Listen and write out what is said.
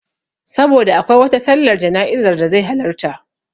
Saboda akwai wata sallar jana'izar da zai halarta